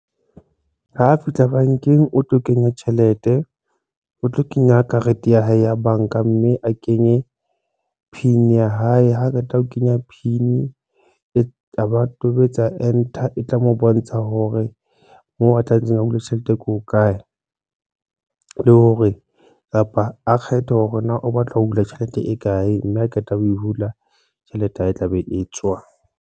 Ha fihla bankeng, o tlo kenya tjhelete, o tlo kenya karete ya hae ya banka mme a kenye P_I_N ya hae, ha qeta ho kenya P_I_N e kaba tobetsa enter e tla mo bontsha hore moo a tlametseng a hula tjhelete e ko kae le hore kapa a kgethe hore na o batla ho hula tjhelete e kae mme a qeta ho e hula tjhelete ya hae e tla be e tswa.